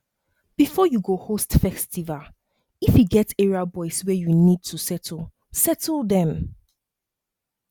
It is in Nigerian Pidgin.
before you go host festival if e get area boys wey you need to settle settle them